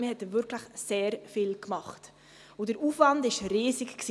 Man hat wirklich sehr viel getan, und der Aufwand war riesig.